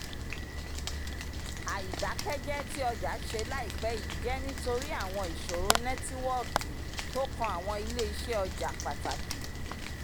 àìdákẹ́jẹ tí ọjà ṣe laipẹ yìí jẹ́ nítorí àwọn ìṣòro nẹ́tíwọ́ọ̀kì tó kan àwọn ilé iṣẹ́ ọjà pàtàkì